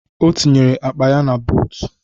O tinyere akpa ya na buutu.